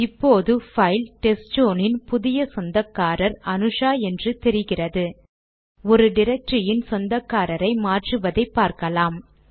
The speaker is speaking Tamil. இப்போது பைல் டெஸ்ட்சோன் இன் புதிய சொந்தக்காரர் அனுஷா என்று தெரிகிறது ஒரு டிரக்டரியின் சொந்தக்காரரை மாற்றுவது எப்படி என்று பார்க்கலாம்